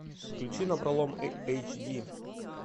включи напролом эйчди